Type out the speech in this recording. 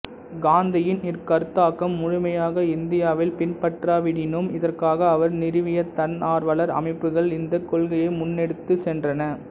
காந்தியின் இக்கருத்தாக்கம் முழுமையாக இந்தியாவில் பின்பற்றப்படாவிடினும் இதற்காக அவர் நிறுவிய தன்னார்வலர் அமைப்புக்கள் இந்தக் கொள்கையை முன்னெடுத்துச் சென்றன